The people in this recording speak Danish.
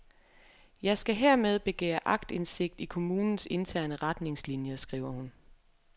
Jeg skal hermed begære aktindsigt i kommunens interne retningslinier, skriver hun.